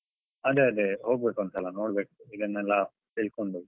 ಅದೇ ಅದೇ ಹೋಗ್ಬೇಕು ಒಂದ್ಸಲ ನೋಡ್ಬೇಕು ಇದನ್ನೆಲ್ಲಾ ತಿಳ್ಕೊಂಡು.